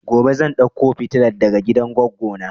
Gobe zan dauko fitilan daga gidan goggo na